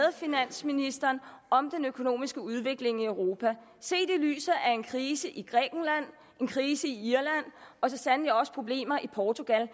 og finansministeren om den økonomiske udvikling i europa set i lyset af en krise i grækenland en krise i irland og så sandelig også problemer i portugal